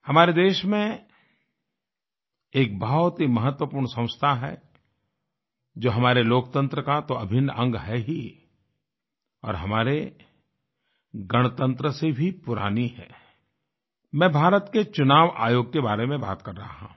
हमारे देश में एक बहुत ही महत्वपूर्ण संस्था है जो हमारे लोकतंत्र का तो अभिन्न अंग है ही और हमारे गणतंत्र से भी पुरानी है मैं भारत के चुनाव आयोग के बारे में बात कर रहा हूँ